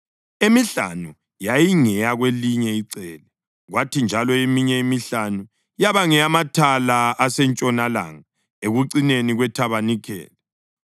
emihlanu yayingeyakwelinye icele, kwathi njalo eminye emihlanu yaba ngeyamathala asentshonalanga ekucineni kwethabanikeli.